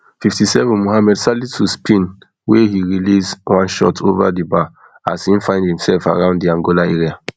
fifty-seven mohammed salisu spin wey he release one shot ova di bar as im find imserf around di angola area